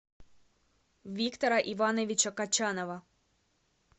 виктора ивановича качанова